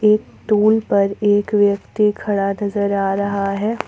एक टूल पर एक व्यक्ति खड़ा नज़र आ रहा है।